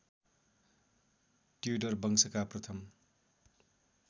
Tudor वंशका प्रथम